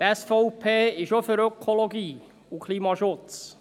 Die SVP ist auch für Ökologie und Klimaschutz.